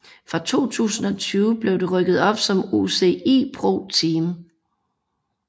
Fra 2020 blev det rykket op som UCI ProTeam